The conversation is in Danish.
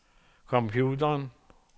computeren